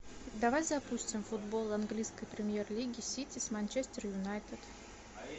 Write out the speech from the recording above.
давай запустим футбол английской премьер лиги сити с манчестер юнайтед